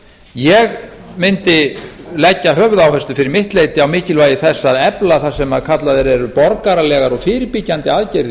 ég mundi leggja höfuðáherslu fyrir mitt leyti á mikilvægi þess að efla það sem kallaðir eru borgaralegar og fyrirbyggjandi aðgerðir